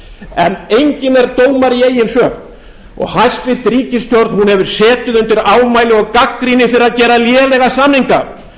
en enginn er dómari í eigin sök og hæstvirt ríkisstjórn hefur setið undir ámæli og gagnrýni fyrir að gera lélega samninga